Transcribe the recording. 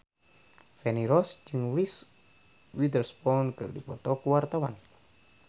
Feni Rose jeung Reese Witherspoon keur dipoto ku wartawan